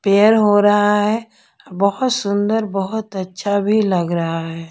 हो रहा है बहोत सुंदर बहोत अच्छा भी लग रहा है।